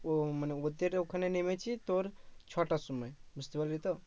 ও মানে ওদের ওখানে নেমেছি তোর ছটার সময় বুঝতে পারলি তো মানে